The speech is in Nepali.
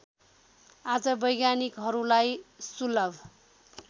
आज वैज्ञानिकहरूलाई सुलभ